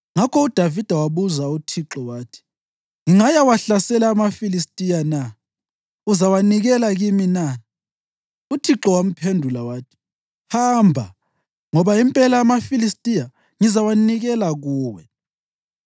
ngakho uDavida wabuza uThixo wathi, “Ngingayawahlasela amaFilistiya na? Uzawanikela kimi na?” UThixo wamphendula wathi, “Hamba, ngoba impela amaFilistiya ngizawanikela kuwe.”